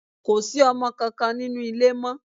Kò sí ọmọ kankan nínú ilé mọ́.